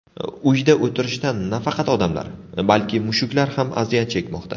Uyda o‘tirishdan nafaqat odamlar, balki mushuklar ham aziyat chekmoqda.